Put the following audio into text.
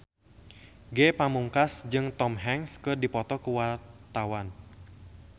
Ge Pamungkas jeung Tom Hanks keur dipoto ku wartawan